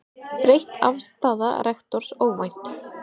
Breytt afstaða rektors óvænt